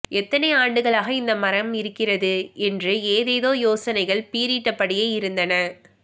எத்தனை ஆண்டுகளாக இந்த மரம் இருக்கிறது என்று ஏதேதோ யோசனைகள் பீறிட்டபடியே இருந்தன